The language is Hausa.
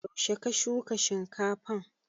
Yaushe ka shuka shinkafan?